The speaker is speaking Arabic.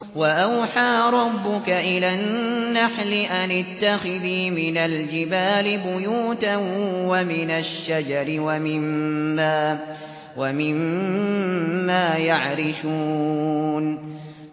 وَأَوْحَىٰ رَبُّكَ إِلَى النَّحْلِ أَنِ اتَّخِذِي مِنَ الْجِبَالِ بُيُوتًا وَمِنَ الشَّجَرِ وَمِمَّا يَعْرِشُونَ